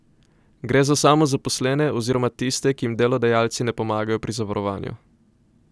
Gre za samozaposlene oziroma tiste, ki jim delodajalci ne pomagajo pri zavarovanju.